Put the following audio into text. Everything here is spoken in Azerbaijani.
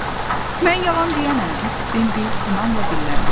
Mən yalan deyənəm, Bambi inamla dilləndi.